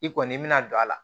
I kɔni mi na don a la